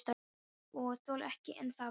Og þolir ekki enn þar við.